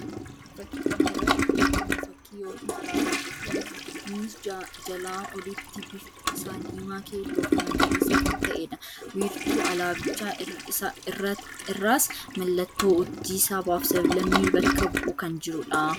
Fakkii kana irratti kan argamu fakkii yookiin alaabaa Itoophiyaa ti. Innis jalaa olitti bifti isaa diimaa, keelloo fi magariisa kan ta'ee dha. Wiirtuu alaabichaa irraas mallattoon urjii sabaaf sab_lammii bakka bu'u kan jiruu dha.